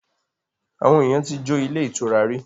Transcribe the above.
Àwọn èèyàn ti jo ilé ìtura rí